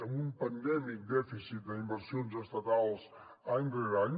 amb un endèmic dèficit d’inversions estatals any rere any